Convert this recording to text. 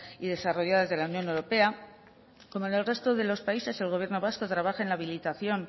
y desarrolladas de la unión europea como en el resto de los países el gobierno vasco trabaja en la habilitación